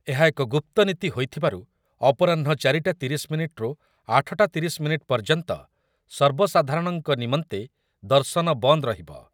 ଏହା ଏକ ଗୁପ୍ତ ନୀତି ହୋଇଥିବାରୁ ଅପରାହ୍ନ ଚାରିଟା ତିରିଶ ମିନିଟ୍‌ରୁ ଆଠଟା ତିରିଶ ମିନିଟ୍ ପର୍ଯ୍ୟନ୍ତ ସର୍ବସାଧାରଣଙ୍କ ନିମନ୍ତେ ଦର୍ଶନ ବନ୍ଦ ରହିବ ।